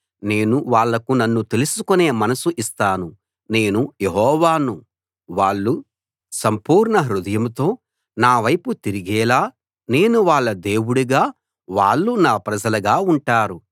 నేను వాళ్లకు నన్ను తెలుసుకునే మనసు ఇస్తాను నేను యెహోవాను వాళ్ళు సంపూర్ణ హృదయంతో నా వైపు తిరిగేలా నేను వాళ్ళ దేవుడుగా వాళ్ళు నా ప్రజలుగా ఉంటారు